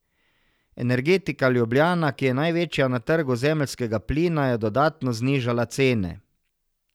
Energetika Ljubljana, ki je največja na trgu zemeljskega plina, je dodatno znižala cene.